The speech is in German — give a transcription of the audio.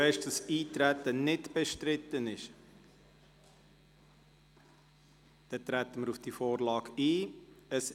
Das Eintreten ist nicht bestritten, somit treten wir auf diese Vorlage ein.